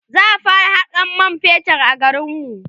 za'a fara Hakan man fetur a garinmu